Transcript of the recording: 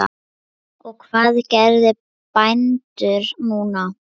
Og hvað gera bændur núna?